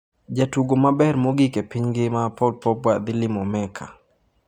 Jatugo mabech mogik e piny ngima Paul Pogba dhi limo Mecca